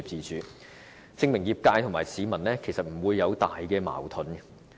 這些調查結果證明，業界和市民之間並沒有重大矛盾。